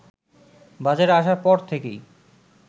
বাজারে আসার পর থেকেই